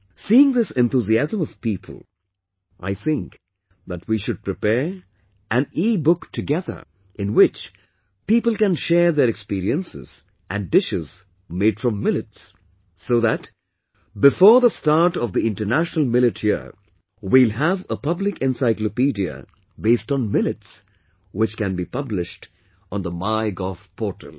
Seeing this enthusiasm of people, I think that we should prepare an ebook together, in which people can share their experiences and dishes made from millets, so that, before the start of the International Millet Year, we will have a publicencyclopediabased on millets which can be published on the MyGov portal